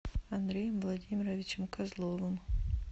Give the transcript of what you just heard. андреем владимировичем козловым